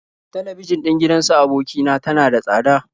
Talabijin ɗin gidan su aboki na tana da tsada.